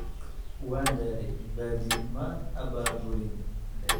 Waan daalay, baaldi maan abaabulin.